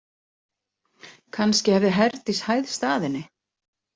Kannski hefði Herdís hæðst að henni.